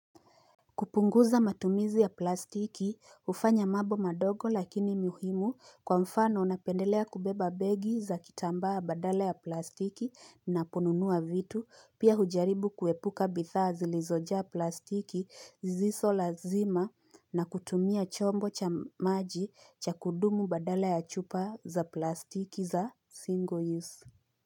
Kupunguza matumizi ya plastiki, hufanya mambo madogo lakini muhimu kwa mfano napendelea kubeba begi za kitambaa badala ya plastiki naponunua vitu, pia hujaribu kuepuka bidhaa zilizojaa plastiki zizo lazima na kutumia chombo cha maji cha kudumu badala ya chupa za plastiki za single use.